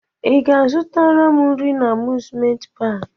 I ga-azụtara m nri na amuzment paki?